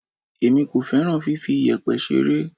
Èmi kò fẹ́ràn fifi iyẹ̀pẹ̀ ṣeré.